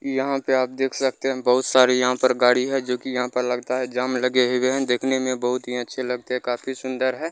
यहाँ पे आप देख सकते है बहुत सारी यहाँ पर गाड़ी है जो कि यहाँ पर लगता है जाम लगे हुए हैं देखने में बहुत ही अच्छे लगते है काफी सुंदर है।